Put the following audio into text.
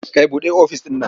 Kai buɗe ofis ɗin.